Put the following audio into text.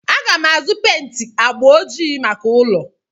Aga m azụ pent agba ojii maka ụlọ.